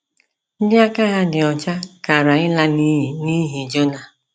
Ndị aka ha dị ọcha kara ịla n'iyi n’ihi Jona!